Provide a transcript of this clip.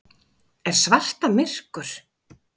Er svarta myrkur?